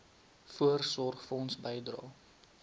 voorsorgfonds bydrae